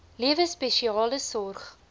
lewe spesiale sorg